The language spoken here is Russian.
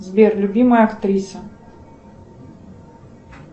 сбер любимая актриса